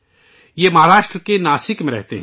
وہ مہاراشٹر کے ناسک میں رہتے ہیں